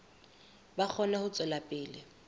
ba kgone ho tswela pele